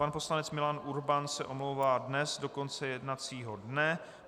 Pan poslanec Milan Urban se omlouvá dnes do konce jednacího dne.